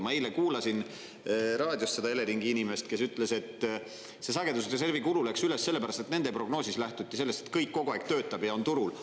Ma eile kuulasin raadiost seda Eleringi inimest, kes ütles, et see sagedusreservi kulu läks üles sellepärast, et nende prognoosis lähtuti sellest, et kõik kogu aeg töötab ja on turul.